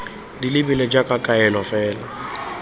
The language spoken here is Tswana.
di lebilwe jaaka kaelo fela